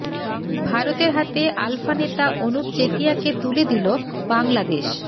ভারতের হাতে আলফা নেতা অনুপ চেতিয়াকে তুলে দিল বাংলাদেশ